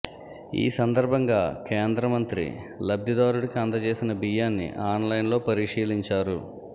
ఈ సందర్భంగా కేంద్ర మంత్రి లబ్ధిదారుడికి అందజేసిన బియ్యాన్ని ఆన్లైన్లో పరిశీలించారు